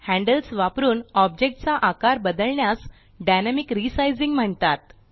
handles वापरून object चा आकार बदलण्यास डायनॅमिक रिसायझिंग म्हणतात